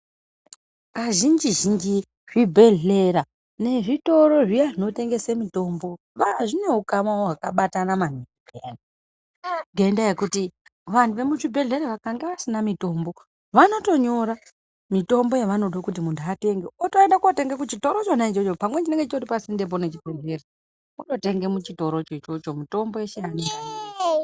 Kazhinji-zhinji zvibhedhlera nezvitoro zviya zvinotengese mitombo zvineukana hwakabatana maningi ngendaa yekuti vanhu vemuzvibhehlera vakange vasina mitombo, vanotonyora mitombo yavanodo kuti muntu atenge otoende kunotenga kuchitoro chona ichocho. Pamweni chinenge chitori pasindepo nechibhehlera wototenge muchitorocho ichocho mitombo yeshe...